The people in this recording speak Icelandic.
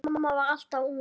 Amma var alltaf ung.